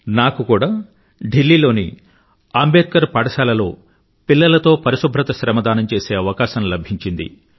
నాకు కూడా ఢిల్లీలోని అంబేద్కర్ పాఠశాల లో పిల్లలతో పరిశుభ్రత శ్రమదానం చేసే అవకాశం లభించింది